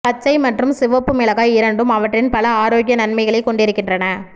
பச்சை மற்றும் சிவப்பு மிளகாய் இரண்டும் அவற்றின் பல ஆரோக்கிய நன்மைகளைக் கொண்டிருக்கின்றன